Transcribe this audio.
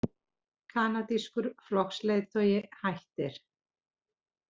Kanadískur flokksleiðtogi hættir